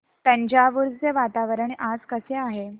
तंजावुर चे वातावरण आज कसे आहे